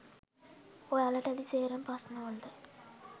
ඔයාලට ඇති සේරම ප්‍රශ්න වලට